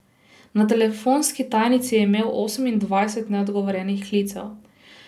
Na telefonski tajnici je imel osemindvajset neodgovorjenih klicev.